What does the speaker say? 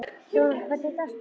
Dónald, hvernig er dagskráin?